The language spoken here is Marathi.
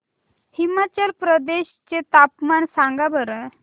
हिमाचल प्रदेश चे तापमान सांगा बरं